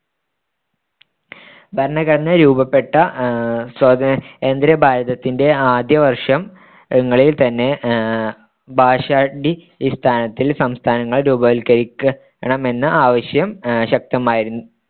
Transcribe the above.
ഭരണഘടന രൂപപ്പെട്ട സ്വതന്ത്രഭാരതത്തിന്റെ ആദ്യ വർഷം ങ്ങളിൽ തന്നെ ആഹ് ഭാഷാടിസ്ഥാനത്തിൽ സംസ്ഥാനങ്ങൾ രൂപവത്കരിക്കണമെന്ന ആവശ്യം അഹ് ശക്തമായിരുന്നു.